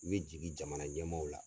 I bɛ jigi jamana ɲɛmaaw la.